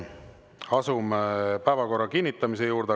Asume päevakorra kinnitamise juurde.